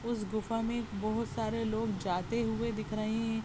उस गुफा में बहुत सारे लोग जाते हुए दिख रहे हैं।